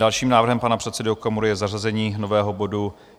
Dalším návrhem pana předsedy Okamury je zařazení nového bodu